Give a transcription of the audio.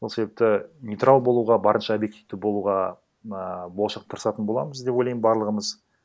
сол себепті нейтрал болуға барынша объективті болуға ааа болашақта тырысатын боламыз деп ойлаймын барлығымыз